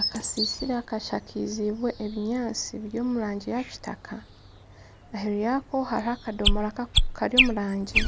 Akasisira kashakazibwe ebinyaasti biri omurangi ya Kitaka. Aheru yako hariho akadomora Kari omurangi